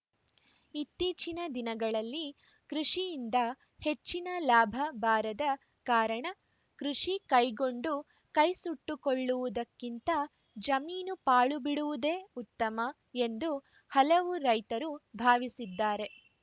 ಇತ್ತೀಚಿನ ದಿನಗಳಲ್ಲಿ ಕೃಷಿಯಿಂದ ಹೆಚ್ಚಿನ ಲಾಭ ಬಾರದ ಕಾರಣ ಕೃಷಿ ಕೈಗೊಂಡು ಕೈ ಸುಟ್ಟುಕೊಳ್ಳುವುದಕ್ಕಿಂತ ಜಮೀನು ಪಾಳು ಬಿಡುವುದೇ ಉತ್ತಮ ಎಂದು ಹಲವು ರೈತರು ಭಾವಿಸಿದ್ದಾರೆ